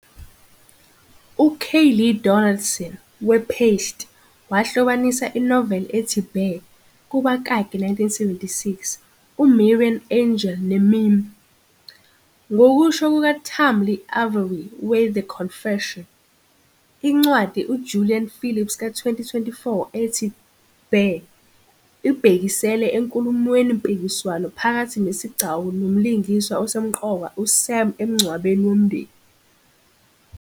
UKayleigh Donaldson we-"Paste" wahlobanisa inoveli ethi "Bear", kubakaki, 1976, UMarian Engel ne-meme. Ngokusho kukaTamlyn Avery we-"The Conversation", incwadi UJulia Phillips ka-2024 ethi "Bear" ibhekisela enkulumweni-mpikiswano phakathi nesigcawu nomlingiswa osemqoka uSam emngcwabeni womndeni.